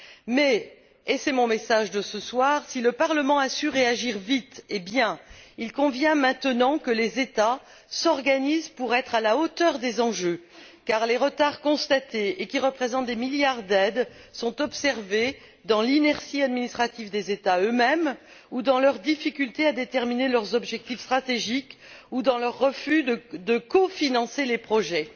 Mais et c'est mon message de ce soir si le Parlement a su réagir vite et bien, il convient maintenant que les États s'organisent pour être à la hauteur des enjeux car les retards constatés, et qui représentent des milliards d'aides, sont observés dans l'inertie administrative des États eux mêmes ou dans leur difficulté à déterminer leurs objectifs stratégiques ou dans leur refus de cofinancer les projets.